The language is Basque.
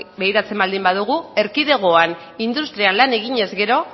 begiratzen baldin badugu erkidegoan industrian lan eginez gero